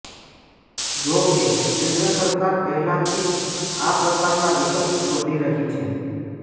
જો કે કેન્દ્ર સરકાર પહેલાથી જ આ પ્રકારનાં વિકલ્પ શોધી રહી છે